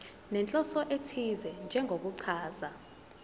nenhloso ethize njengokuchaza